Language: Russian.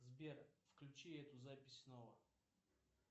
сбер включи эту запись снова